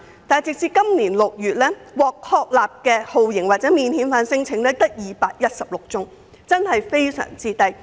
但是，截至今年6月，獲確立的酷刑或免遣返聲請只有216宗，數字真的很低。